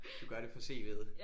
Du gør det for cv'et